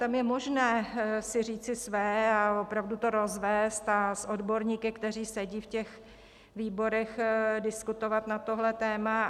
Tam je možné si říci své a opravdu to rozvést a s odborníky, kteří sedí v těch výborech, diskutovat na tohle téma.